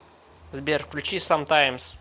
сбер включи самтаймс